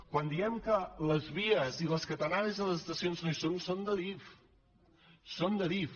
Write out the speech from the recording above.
quan diem que les vies i les catenàries de les estacions no hi són són d’adif són d’adif